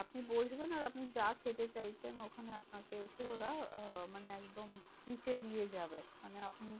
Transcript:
আপনি বসবেন আর আপনি যা খেতে চাইছেন ওখানে আপনাকে এসে ওরা আহ মানে একদম beach এ দিয়ে যাবে। মানে আপনি